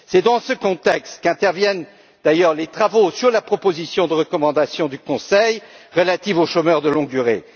C'est dans ce contexte qu'interviennent d'ailleurs les travaux sur la proposition de recommandation du Conseil relative aux chômeurs de longue durée.